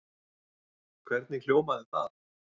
Hvernig hljómaði það?